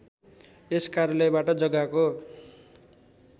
यस कार्यालयबाट जग्गाको